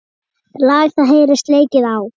Lag það heyrist leikið á.